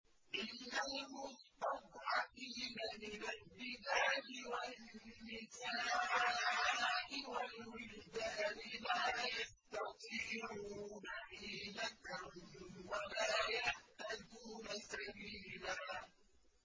إِلَّا الْمُسْتَضْعَفِينَ مِنَ الرِّجَالِ وَالنِّسَاءِ وَالْوِلْدَانِ لَا يَسْتَطِيعُونَ حِيلَةً وَلَا يَهْتَدُونَ سَبِيلًا